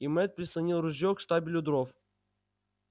и мэтт прислонил ружье к штабелю дров